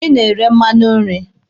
Ị na-ere mmanụ nri.